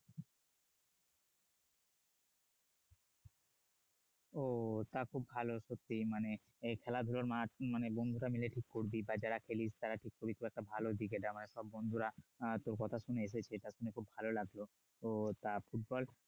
ও তা খুব ভালো মানে সত্যি খেলাধুলার মাঠ মানে কেমনে কি করবি বা যারা খেলিস ভালো দিকে যাওয়ার তোর বন্ধুরা তোর কথা শুনে এসেছে এটা শুনে খুব ভালো লাগলো তো তা ফুটবল